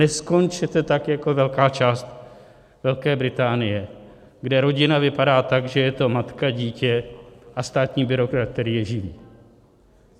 Neskončete tak jako velká část Velké Británie, kde rodina vypadá tak, že je to matka, dítě a státní byrokrat, který je živí.